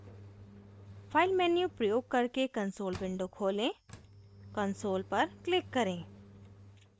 file menu प्रयोग करके console window खोलें console पर click करें